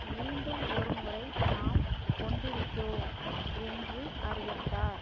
மீண்டும் ஒரு முறை நாம் கொண்டிருக்கிறோம் என்று அறிவித்தார்